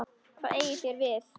Hvað eigið þér við?